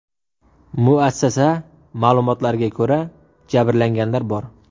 Muassasa ma’lumotlariga ko‘ra, jabrlanganlar bor.